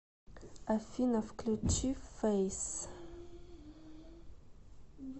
афина включи фэйс